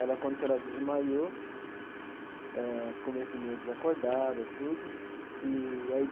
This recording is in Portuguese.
Ela conta que ela desmaiou, eh ficou meio assim meio desacordada tudo e aí.